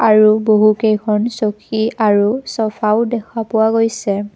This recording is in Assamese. আৰু বহুকেইখন চকী আৰু চফাও দেখা পোৱা গৈছে।